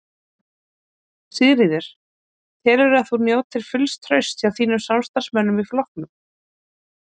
Sigríður: Telurðu að þú njótir fulls trausts hjá þínum samstarfsmönnum í flokknum?